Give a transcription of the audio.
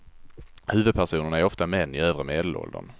Huvudpersonerna är ofta män i övre medelåldern.